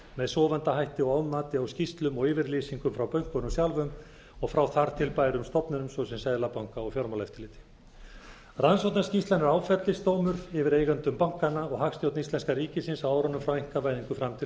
með sofandahætti og ofmati á skýrslum og yfirlýsingum frá bönkunum sjálfum og frá þar til bærum stofnunum svo sem seðlabanka og fjármálaeftirliti rannsóknarskýrslan er áfellisdómur yfir eigendum bankanna og hagstjórn íslenska ríkisins á árunum frá einkavæðingu fram til